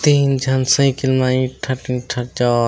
तीन झन साइकिल म एक ठक दू ठक जा--